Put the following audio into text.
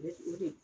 o de